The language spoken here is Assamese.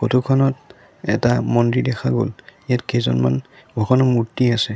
ফটো খনত এটা মন্দিৰ দেখা গ'ল ইয়াত কেইজনমান ভগৱানৰ মূৰ্ত্তি আছে।